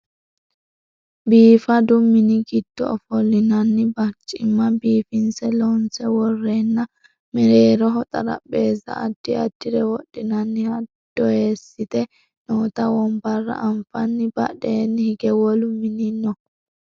biifadu mini giddo ofollinanni barcimma biifinse loonse worreenna mereeroho xarapheezza addi addire wodhinanniha doyeessite noota wonbarra anfanni badheenni hige wolu mini no